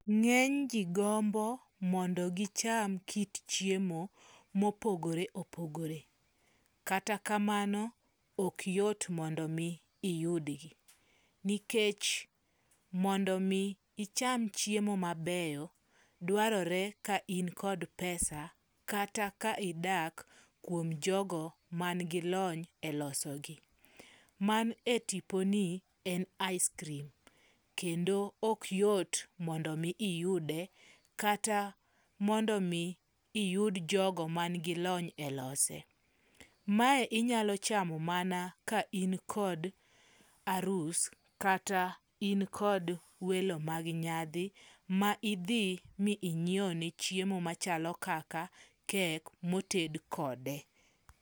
Ng'eny ji gombo mondo gicham kit chiemo mopogore opogore. Kata kamano ok yot mondo mi iyudgi. Nikech mondo mi icham chiemo mabeyo, dwarore ka in kod pesa kata ka idak kuom jogo man gi lony e loso gi. Man e tipo ni en ice cream kendo ok yot mondo mi iyude kata mondo mi iyud jogo man gi lony e lose. Mae inyalo chamo mana ka in kod arus kata in kod welo mag nyadhi ma idhi mi inyiew ne chiemo machalo kaka kek moted kode.